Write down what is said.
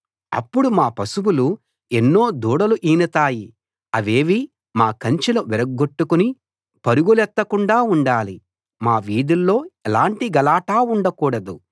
అప్పుడు మా పశువులు ఎన్నో దూడలు ఈనతాయి అవేవీ మా కంచెలు విరగ్గొట్టుకుని పరుగులెత్తకుండా ఉండాలి మా వీధుల్లో ఎలాటి గలాటా ఉండకూడదు